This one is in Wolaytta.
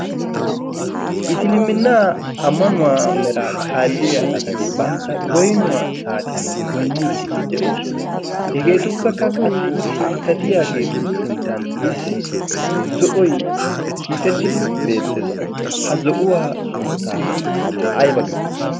isilimminnaa ammanuwaa mera kaalliya asati bantta goynnuwaa saatiyan goynniiddi de7oosona. hegeetuppekka qassi sinttatiyaageetu sinttan issi zo7oy hiixettidi beettees. ha zo7uwaa sunttaa aybba giyo?